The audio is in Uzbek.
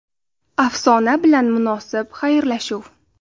Afsona bilan munosib xayrlashuv.